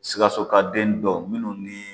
Sikasokaden dɔw minnu ni